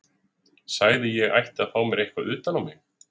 Sagði að ég ætti að fá mér eitthvað utan á mig.